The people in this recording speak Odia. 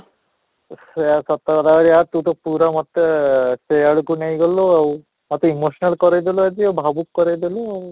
ପୁରା ସତ କଥା ତୁ ତ ମୋତେ ସେଇ ଆଡକୁ ନେଇଗଲୁ ଆଉ ଖାଲି emotional କରେଇ ଦେଲୁ ଆଜି ଭାବୁକ କରେଇ ଦେଲୁ ଆଉ